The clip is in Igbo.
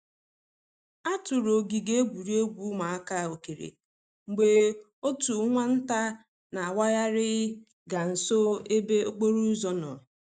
A tụrụ ogige egwuregwu ụmụaka okere mgbe otu nwa nta na awaghari ga nso ebe okporo ụzọ nọ.